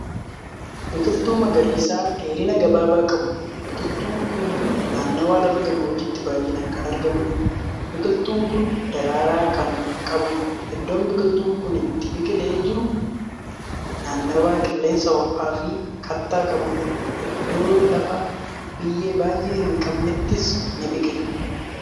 Biqiltuu magariisa dheerina gabaabaa qabu. biqiltuun Kuni naannawa lafa gammoojjiitti baay'inaan Kan argamuudha. biqiltuun Kun daraaraa Kan qabuudha. iddoon biqiltuun Kuni itti biqilee jiru naannawa qilleensa hoo'aa Fi kattaa qabudha. iddoo lafa biyyee baay'ee hin qabneettis ni biqila.